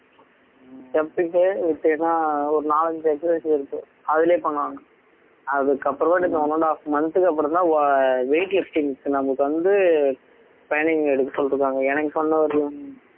jumping விட்டீங்கன்னா ஒரு நாலஞ்சு exercise இருக்கு அதிலேயே பண்ணுவாங்க அதுக்கு அப்புறமேட்டு one and half month க்கு அப்புறம்தான் weight lifting க்கு நமக்கு வந்து training எடுக்க சொல்லிருக்காங்க எனக்கு சொன்ன வரையிலும்